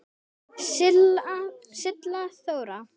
Silla Þóra.